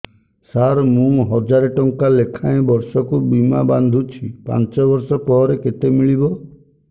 ସାର ମୁଁ ହଜାରେ ଟଂକା ଲେଖାଏଁ ବର୍ଷକୁ ବୀମା ବାଂଧୁଛି ପାଞ୍ଚ ବର୍ଷ ପରେ କେତେ ମିଳିବ